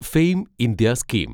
fame India scheme